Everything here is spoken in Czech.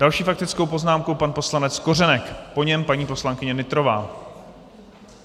Další faktickou poznámku pan poslanec Kořenek, po něm paní poslankyně Nytrová.